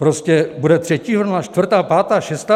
Prostě bude třetí vlna, čtvrtá, pátá, šestá?